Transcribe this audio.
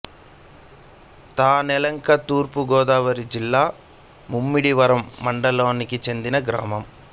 తానెలంక తూర్పు గోదావరి జిల్లా ముమ్మిడివరం మండలానికి చెందిన గ్రామం